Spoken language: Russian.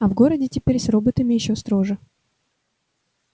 а в городе теперь с роботами ещё строже